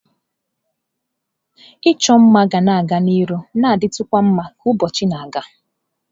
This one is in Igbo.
Ịchọ mma ga-aga n'ihu na-ditukwa mma ka ụbọchị na-aga.